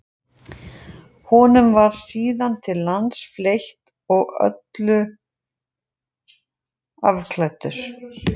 Honum var síðan til lands fleytt og að öllu afklæddur.